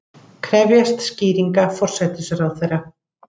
Krefjast skýringa forsætisráðherra